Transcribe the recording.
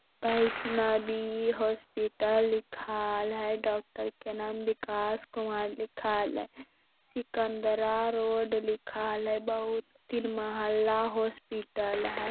Vaishnavi hospital लिखाल है doctor के नाम विकास कुमार लिखाल है सिकंदरा रोड लिखाल है बहुत ही महला हॉस्पिटल है ।